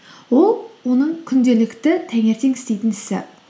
ол оның күнделікті таңертең істейтін ісі